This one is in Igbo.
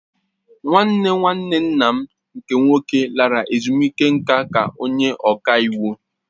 Nwanne nwanne nna m nke nwoke lara ezumike nká ka onye ọka iwu